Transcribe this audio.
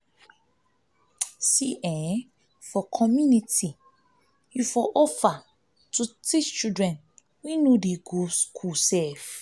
for community you for offer to teach children wey no dey go school